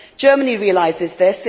Germany realises this.